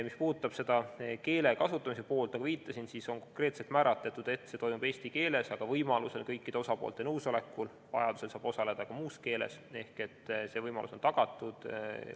Mis puudutab keele kasutamise poolt, siis nagu viitasin, on konkreetselt määratletud, et töö toimub eesti keeles, aga kõikide osapoolte nõusolekul ja vajadusel saab osaleda ka muus keeles ehk see võimalus on tagatud.